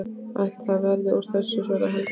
Ætli það verði úr þessu, svaraði Helga.